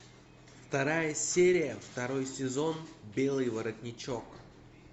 вторая серия второй сезон белый воротничок